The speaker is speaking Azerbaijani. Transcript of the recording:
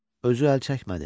Özü əlçəkmədi.